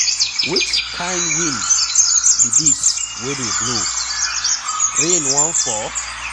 Which kin wind be dis wey dey blow? Rain wan fall?